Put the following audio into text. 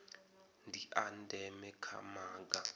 ndi a ndeme kha maga